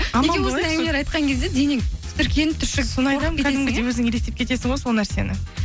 неге осындай әңгімелер айтқан кезде денең тітіркеніп түршігіп өзің елестеп кетесің ғой сол нәрсені